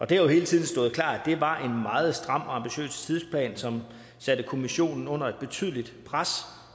det har jo hele tiden stået klart at det var en meget stram og ambitiøs tidsplan som satte kommissionen under et betydeligt pres